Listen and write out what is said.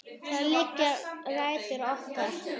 Þar liggja rætur okkar.